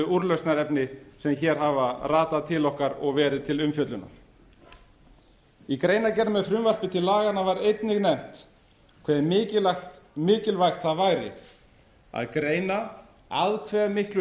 úrlausnarefni sem hér hafa ratað til okkar og verið til umfjöllunar í greinargerð með frumvarpi til laganna var einnig nefnt hve mikilvægt það væri að greina að hve miklu